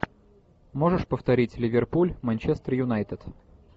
можешь повторить ливерпуль манчестер юнайтед